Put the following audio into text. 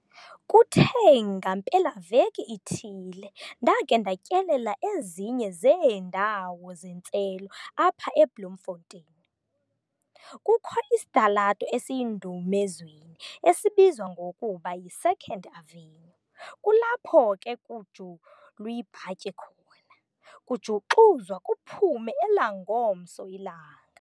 Kuthe ngampelaveki ithile ndake ndatyelela ezinye zeendawo zentselo apha eBloemfontein. Kukho isitalato esiyindumezweni esibizwa ngokuba yi "Second Avenue" kulapho ke kujulwi'bhatyi khona, kujuxuzwa kuphume elangomso ilanga.